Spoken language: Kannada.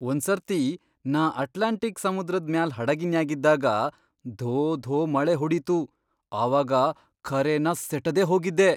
ಒಂದ್ಸರ್ತಿ ನಾ ಅಂಟ್ಲಾಂಟಿಕ್ ಸಮುದ್ರದ್ ಮ್ಯಾಲ್ ಹಡಗಿನ್ಯಾಗಿದ್ದಾಗ ಧೋ ಧೋ ಮಳಿ ಹೊಡಿತು, ಆವಾಗ ಖರೆನ ಸೆಟದೇ ಹೋಗಿದ್ದೆ.